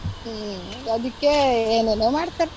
ಹ್ಮ್ಅದಿಕ್ಕೆ ಏನೇನೊ ಮಾಡ್ತಾರೆ.